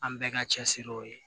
An bɛɛ ka cɛsiri o ye